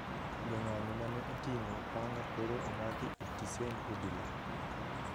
Jong`anyo mane oting`o panga koro omaki e tisend obila